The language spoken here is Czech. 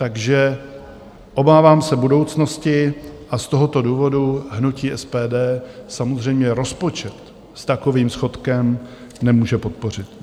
Takže obávám se budoucnosti a z tohoto důvodu hnutí SPD samozřejmě rozpočet s takovým schodkem nemůže podpořit.